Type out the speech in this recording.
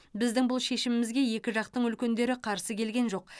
біздің бұл шешімімізге екі жақтың үлкендері қарсы келген жоқ